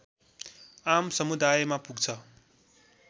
आम समुदायमा पुग्छ